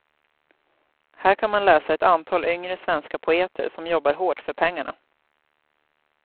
Här kan man läsa ett antal yngre svenska poeter som jobbar hårt för pengarna.